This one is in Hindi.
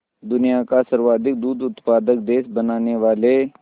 दुनिया का सर्वाधिक दूध उत्पादक देश बनाने वाले